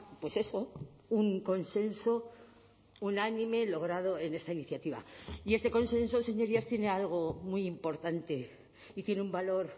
pues eso un consenso unánime logrado en esta iniciativa y este consenso señorías tiene algo muy importante y tiene un valor